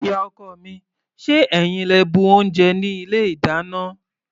Ìyá-ọkọ mi, ṣé ẹ̀yin lẹ bu oúnjẹ ní ilé-ìdáná?